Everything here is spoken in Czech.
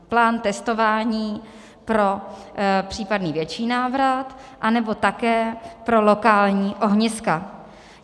Plán testování pro případný větší návrat, anebo také pro lokální ohniska.